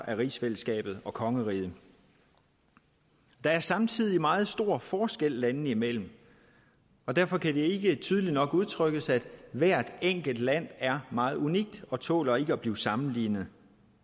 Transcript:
af rigsfællesskabet og kongeriget der er samtidig meget store forskelle landene imellem og derfor kan det ikke tydeligt nok udtrykkes at hvert enkelt land er meget unikt og tåler at blive sammenlignet